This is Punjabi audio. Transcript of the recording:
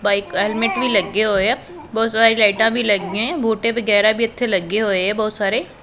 ਬਾਈਕ ਹੈਲਮੈਟ ਵੀ ਲੱਗੇ ਹੋਏ ਆ ਬਹੁਤ ਸਾਰੇ ਲਾਈਟਾਂ ਵੀ ਲੱਗ ਗਈਆਂ ਬੂਟੇ ਵਗੈਰਾ ਵੀ ਇਥੇ ਲੱਗੇ ਹੋਏ ਆ ਬਹੁਤ ਸਾਰੇ --